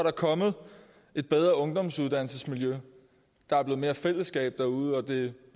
er kommet et bedre ungdomsuddannelsesmiljø der er blevet mere fællesskab derude og det